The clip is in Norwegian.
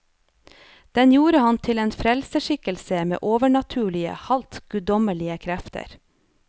Den gjorde ham til en frelserskikkelse med overnaturlige, halvt guddommelige krefter.